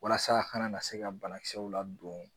Walasa a kana na se ka banakisɛw ladon